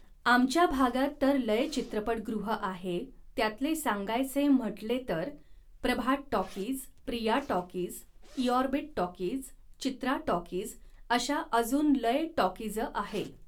आमच्या भागात तर लय चित्रपटगृहं आहे त्यातले सांगायचे म्हटले तर प्रभात टॉकीज, प्रिया टॉकीज, ईऑरबीट टॉकीज, चित्रा टॉकीज अशा अजून लय टॉकीजं आहे